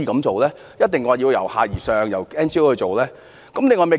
為何一定要由下而上，要由非政府組織負責？